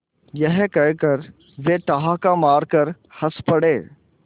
यह कहकर वे ठहाका मारकर हँस पड़े